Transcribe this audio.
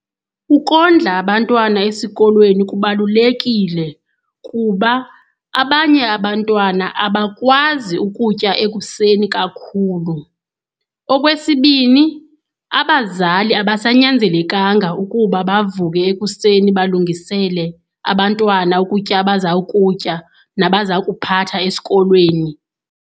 Ukondla abantwana esikolweni kubalulekile kuba abanye abantwana abakwazi ukutya ekuseni kakhulu. Okwesibini, abazali abasanyanzelekanga ukuba bavuke ekuseni balungisele abantwana ukutya abazawukutya nabazawukuphatha esikolweni